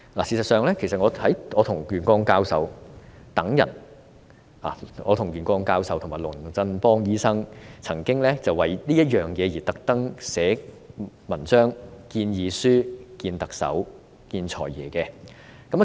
事實上，我與袁國勇教授及龍振邦醫生曾經特地為此撰寫文章和建議書，並與特首及"財爺"會面。